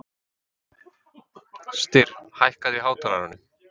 Styrr, hækkaðu í hátalaranum.